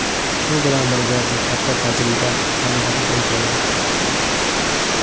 Shu bilan birga bu katta tajriba hamdir”, deydi ayol.